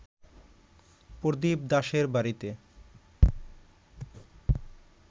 প্রদীপ দাশের বাড়িতে